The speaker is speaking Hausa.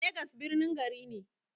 Legas birnin gari ne.